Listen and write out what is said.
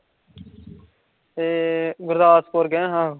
ਤੇ, ਗੁਰਦਸਪੂਰ ਗਏ ਸਾਂ